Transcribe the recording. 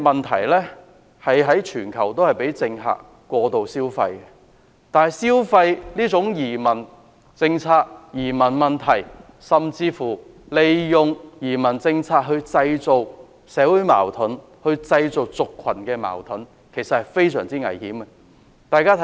其實，全球的政客也會過度消費移民問題，甚至利用移民政策來製造社會矛盾、製造族群矛盾，這是非常危險的。